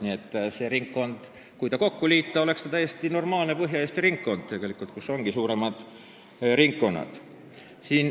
Nii et kui see valimisringkond teisega kokku liita, siis saaksime täiesti normaalse ringkonna Põhja-Eesti jaoks, kus ongi suuremad valimisringkonnad.